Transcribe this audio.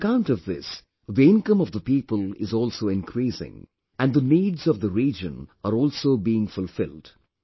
On account of this the income of the people is also increasing, and the needs of the region are also being fulfilled